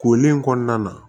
Kolen in kɔnɔna na